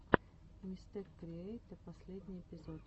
мистэкриэйтэ последний эпизод